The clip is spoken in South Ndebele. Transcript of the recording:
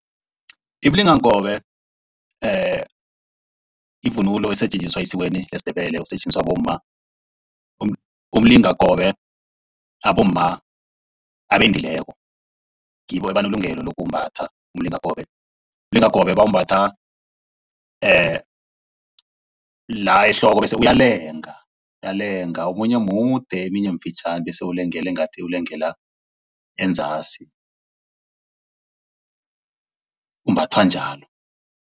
Imilingakobe yivunulo esetjenziswa esikweni lesiNdebele, usetjenziswa bomma. Umlingakobe abomma abendileko ngibo abanelungelo lokuwumbatha umlingakobe. Umlingakobe bawumbatha la ehloko bese uyalenga uyalenga omunye mude eminye mifitjhani bese ngathi ulengela ulengela enzasi, umbathwa njalo.